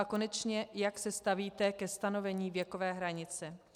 A konečně, jak se stavíte ke stanovení věkové hranice.